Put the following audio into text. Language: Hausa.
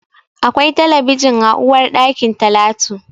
Akwai talabijin a uwarɗakin Talatu.